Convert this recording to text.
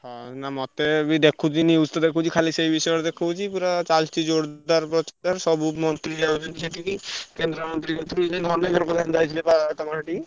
ହଉ ନା ମତେ ବି ଦେଖୁଛି news ତ ଦେଖୁଛି ଖାଲି ସେଇ ବିଷୟରେ ଦେଖଉଛି, ପୁରା ଚାଲଚି ଜୋରଦାର ପ୍ରଚାର ସବୁ ମନ୍ତ୍ରୀ ଯାଉଛନ୍ତି ସେଠିକି କେନ୍ଦ୍ରମନ୍ତ୍ରୀ ଯୋଉ ଅଛନ୍ତି ଧର୍ମେନ୍ଦ୍ର ପ୍ରଧାନ ଯାଇଥିଲେ ବା ତମ ସେଠିକି?